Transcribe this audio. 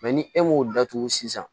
ni e m'o datugu sisan